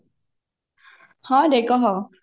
ହଁ ରେ କହ